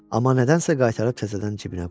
Amma nədənsə qaytarıb təzədən cibinə qoydu.